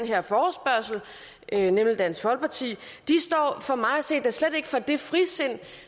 her forespørgsel nemlig dansk folkeparti står for mig at se da slet ikke for det frisind